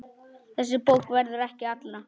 Þessi bók verður ekki allra.